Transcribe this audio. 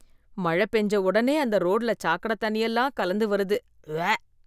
மழ பெஞ்ச ஒடனே அந்த ரோட்டில சாக்கடத் தண்ணி எல்லாம் கலந்து வருது. உவ்வ!